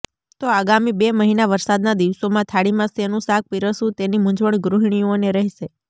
તો આગામી બે મહિના વરસાદના દિવસોમાં થાળીમાં શેનું શાક પિરસવું તેની મુંઝવણ ગૃહિણીઓને રહેશે